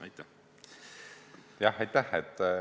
Aitäh!